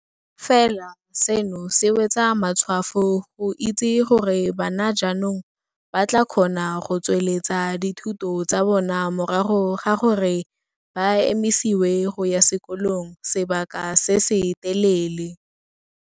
Fela seno se wetsa matshwafo go itse gore bana jaanong ba tla kgona go tsweletsa dithuto tsa bona morago ga gore ba emisiwe go ya sekolong sebaka se se telele.